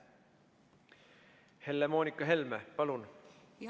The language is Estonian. Helle-Moonika Helme, palun!